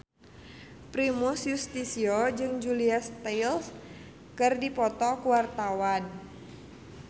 Primus Yustisio jeung Julia Stiles keur dipoto ku wartawan